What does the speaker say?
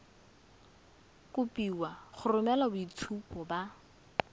kopiwa go romela boitshupo ba